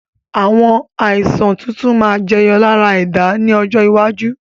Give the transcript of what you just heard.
Àwọn Àìsàn tuntun máa ma jẹyọ lára ẹ̀dá ni ọjọ́ iwájú